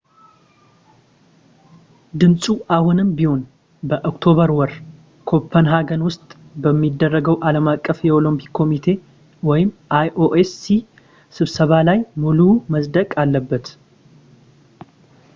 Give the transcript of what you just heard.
ድምፁ አሁንም ቢሆን በኦክቶበር ወር ኮፐንሃገን ውስጥ በሚደረገው ዓለም አቀፍ የኦለምፒክ ኮሚቴ ioc ስብሰባ ላይ ሙሉው መፅደቅ አለበት